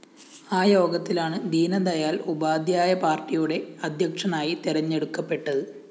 ആ യോഗത്തിലാണ് ദീനദയാല്‍ ഉപാദ്ധ്യായ പാര്‍ട്ടിയുടെ അദ്ധ്യക്ഷനായി തെരഞ്ഞെടുക്കപ്പെട്ടത്